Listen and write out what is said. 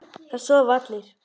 Það sofa allir.